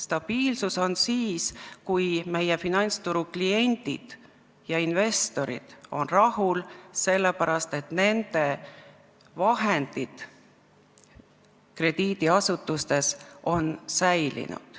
Stabiilsus on siis, kui meie finantsturu kliendid ja investorid on rahul, sest nende vahendid krediidiasutustes on säilinud.